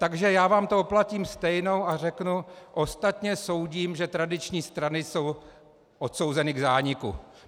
Takže já vám to oplatím stejnou a řeknu: ostatně soudím, že tradiční strany jsou odsouzeny k zániku.